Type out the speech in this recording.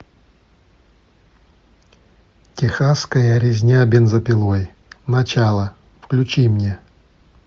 тихасская резня бензопилой начало включи мне